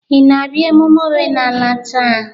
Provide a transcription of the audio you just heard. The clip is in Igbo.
Ị na-abịa emume omenala taa?